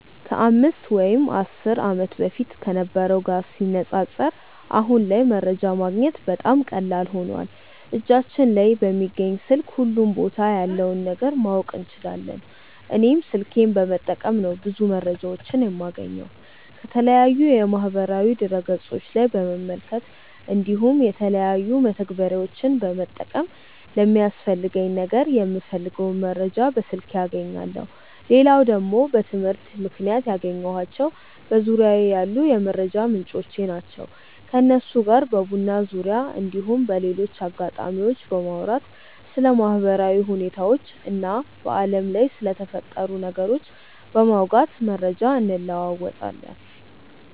ከ 5 ወይም 10 ዓመት በፊት ከነበረው ጋር ሲነጻጸር አሁን ላይ መረጃ ማግኘት በጣም ቀላል ሆኖዋል እጃችን ላይ በሚገኝ ስልክ ሁሉም ቦታ ያለውን ነገር ማወቅ እንችላለን። እኔም ስልኬን በመጠቀም ነው ብዙ መረጃዎችን የማገኘው። ከተለያዩ የማህበራዊ ድረ ገፆች ላይ በመመልከት እንዲሁም የተለያዩ መተግበሪያዎችን በመጠቀም ለሚያስፈልገኝ ነገር የምፈልገውን መረጃ በስልኬ አገኛለው። ሌላው ደግሞ በትምህርት ምክንያት ያገኘኳቸው በዙርያዬ ያሉ ሰዎች የመረጃ ምንጮቼ ናቸው። ከነሱ ጋር በቡና ዙርያ እንዲሁም በሌሎች አጋጣሚዎች በማውራት ስለ ማህበራዊ ሁኔታዎች እና በአለም ላይ ስለተፈጠሩ ነገሮች በማውጋት መረጃ እንለወጣለን።